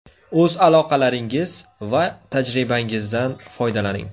O‘z aloqalaringiz va tajribangizdan foydalaning.